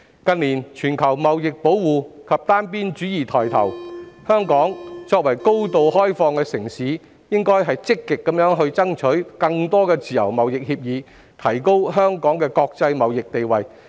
近年全球貿易保護及單邊主義抬頭，香港作為高度開放的城市，應積極爭取更多自由貿易協議，提高香港的國際貿易地位。